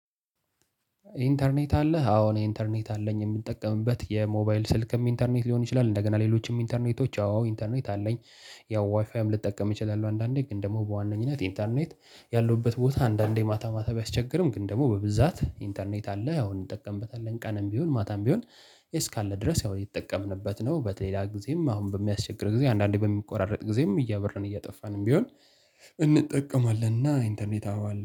ኢንተርኔት አለህ አወ እኔ ኢንተርኔት አለኝ የምጠቀምበት የሞባይል ስልክ ኢንተርኔትም ሊሆን ይችላል እንደገና ሌሎችም ኢንተርኔቶች አወ ኢንተርኔት አለኝ። ያው ዋይፋይም ልጠቀም እችላለሁ አንዳንዴ ግን ደግሞ በዋነኝነት ኢንተርኔት ያለሁበት ቦታ አንዳንዴ ማታ ማታ ቢያስቸግርም ግን ደግሞ በብዛት ኢንተርኔት አለ ያው እንጠቀምበታለን ቀንም ቢሆን ማታም ቢሆን እስካለ ድረስ ያው እየተጠቀምንበት ነው። በተለየያ ጊዜም አሁን በሚያስቸግረን ጊዜ አንዳንዴ በሚቆራረጥ ጊዜም እያበራን እያጠፋንም ቢሆን። እንጠቀማለን እና ኢንተርኔት አወ አለ